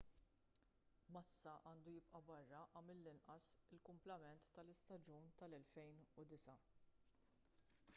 massa għandu jibqa' barra għal mill-inqas il-kumplament tal-istaġun tal-2009